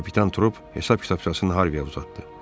Kapitan Trup hesab kitabçasını Harviyə uzatdı.